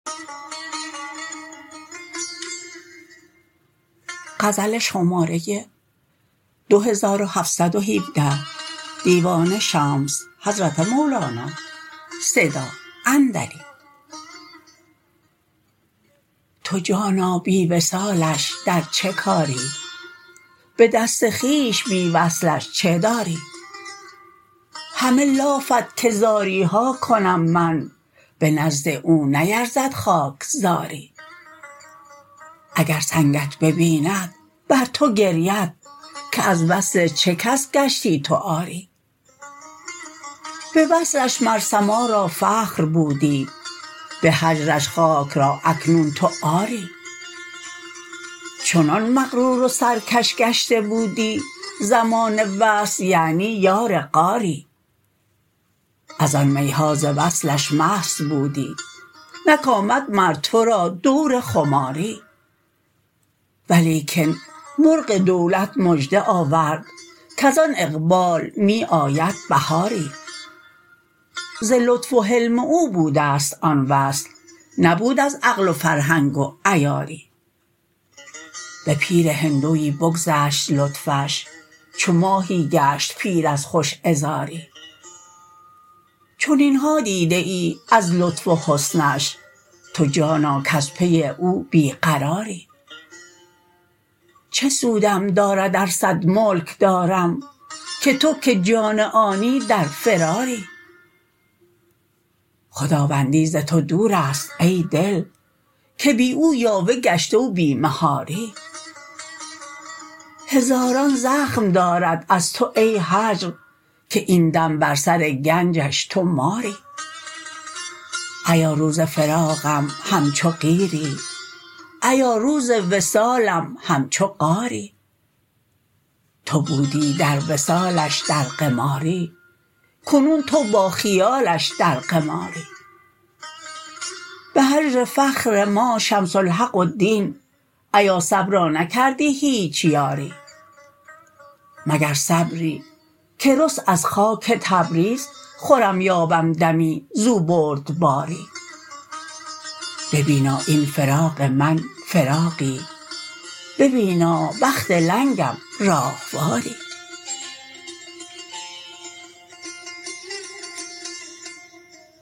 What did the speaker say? تو جانا بی وصالش در چه کاری به دست خویش بی وصلش چه داری همه لافت که زاری ها کنم من به نزد او نیرزد خاک زاری اگر سنگت ببیند بر تو گرید که از وصل چه کس گشتی تو عاری به وصلش مر سما را فخر بودی به هجرش خاک را اکنون تو عاری چنان مغرور و سرکش گشته بودی زمان وصل یعنی یار غاری از آن می ها ز وصلش مست بودی نک آمد مر تو را دور خماری ولیکن مرغ دولت مژده آورد کز آن اقبال می آید بهاری ز لطف و حلم او بوده ست آن وصل نبود از عقل و فرهنگ و عیاری به پیر هندوی بگذشت لطفش چو ماهی گشت پیر از خوش عذاری چنین ها دیده ای از لطف و حسنش تو جانا کز پی او بی قراری چه سودم دارد ار صد ملک دارم که تو که جان آنی در فراری خداوندی ز تو دور است ای دل که بی او یاوه گشته و بی مهاری هزاران زخم دارد از تو ای هجر که این دم بر سر گنجش تو ماری ایا روز فراقم همچو قیری ایا روز وصالم همچو قاری تو بودی در وصالش در قماری کنون تو با خیالش در قماری به هجر فخر ما شمس الحق و دین ایا صبرا نکردی هیچ یاری مگر صبری که رست از خاک تبریز خورم یابم دمی زو بردباری ببینا این فراق من فراقی ببینا بخت لنگم راهواری